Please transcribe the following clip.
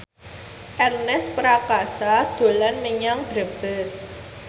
Ernest Prakasa dolan menyang Brebes